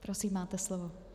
Prosím, máte slovo.